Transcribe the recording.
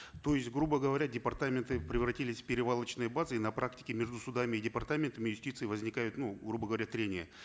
то есть грубо говоря департаменты превратились в перевалочные базы на практике между судами и департаментами юстиции возникают ну грубо говоря трения